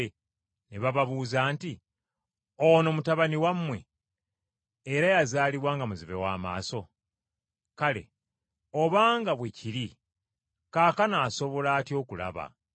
ne bababuuza nti, “Ono mutabani wammwe? Era yazaalibwa nga muzibe wa maaso? Kale obanga bwe kiri kaakano asobola atya okulaba?”